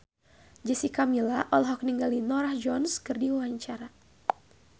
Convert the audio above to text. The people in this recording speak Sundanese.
Jessica Milla olohok ningali Norah Jones keur diwawancara